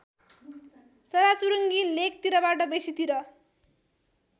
चराचुरुङ्गी लेकतिरबाट बेसीतिर